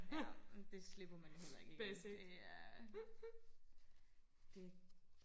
ja det slipper man jo heller ikke igen det er det